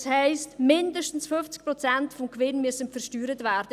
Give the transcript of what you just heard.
Das heisst, mindestens 50 Prozent des Gewinns müssen versteuert werden.